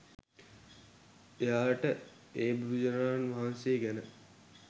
එයාට ඒ බුදුරජාණන් වහන්සේ ගැන